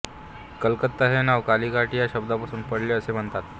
कलकत्ता हे नाव कालिघाट या शब्दापासून पडले असे म्हणतात